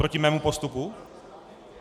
Proti mému postupu?